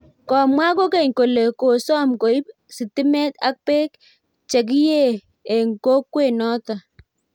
komwaa kokeny kole kosom koiib sitimet ak beek che kiyei eng kokwet noto